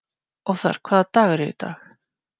Othar, hvaða dagur er í dag?